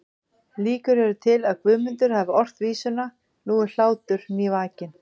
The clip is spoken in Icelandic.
Líkur eru til að Guðmundur hafi ort vísuna Nú er hlátur nývakinn